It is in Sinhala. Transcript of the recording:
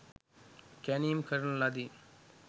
කැනීම් කරන ලදී.